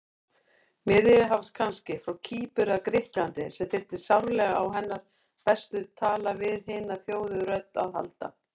Miðjarðarhafs kannski, frá Kýpur eða Grikklandi, sem þyrfti sárlega á hennar bestu tala-við-hina-þjáðu-rödd að halda.